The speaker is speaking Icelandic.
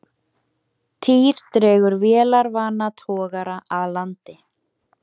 Týr dregur vélarvana togara að landi